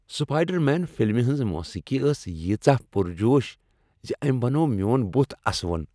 Spider Man فلمہ ہٕنٛز موسیقی ٲس ییژاہ پُر جوش ز أمۍ بنوو میون بُتھ اسوُن ۔